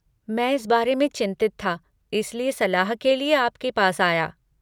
मैं इस बारे में चिंतित था, इसलिए सलाह के लिए आपके पास आया।